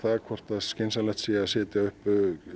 hvort skynsamlegt sé að setja upp